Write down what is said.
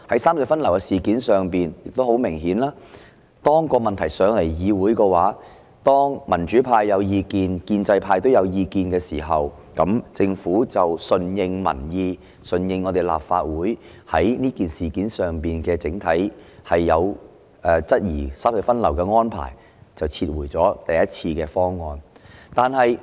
三隧分流事件上明顯可見，當本會討論有關問題時，民主派表示有意見，建制派亦表示有意見，政府便順應民意、順應立法會在這件事上對三隧分流安排的整體質疑，撤回第一次的方案。